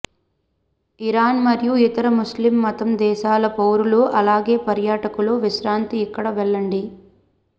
Iran మరియు ఇతర Muslim మతం దేశాల పౌరులు అలాగే పర్యాటకులు విశ్రాంతి ఇక్కడ వెళ్ళండి